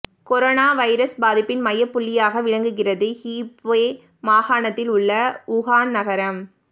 corona virus பாதிப்பின் மையப்புள்ளியாக விளங்குகிறது ஹூபே மாகாணத்தில் உள்ள வுஹான் நகரம்